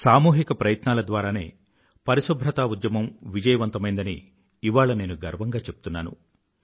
సామూహిక ప్రయత్నాల ద్వారానే పరిశుభ్రతా ఉద్యమం విజయవంతమైందని ఇవాళ నేను గర్వంగా చెప్తున్నాను